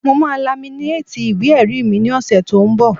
Mo máa laminéètì ìwé-ẹ̀rí mi ní ọ̀sẹ̀ tó n bọ̀